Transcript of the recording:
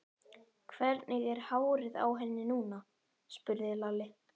Hvernig er hárið á henni núna? spurði Lalli.